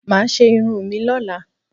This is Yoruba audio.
Máa ṣe irun mi lọ́la.